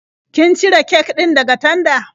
Kin cire kek din daga tanda?